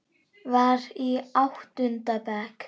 Var í áttunda bekk.